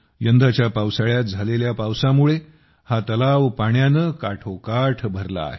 यंदाच्या पावसाळ्यात झालेल्या पावसामुळे हा तलाव पाण्याने काठोकाठ भरला आहे